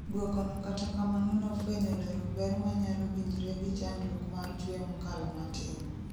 dwokono kata kamano nofwenyo lero ber manyalo winjre gi chandruok mar chwe mokalo matin